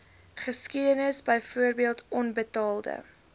geskiedenis byvoorbeeld onbetaalde